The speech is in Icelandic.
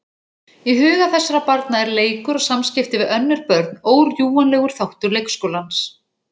Í huga þessara barna er leikur og samskipti við önnur börn órjúfanlegur þáttur leikskólans.